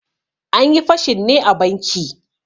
Anyi fashin ne a banki.